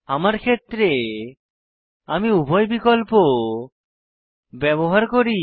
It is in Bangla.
আমার ক্ষেত্রে আমি উভয় বিকল্প ব্যবহার করি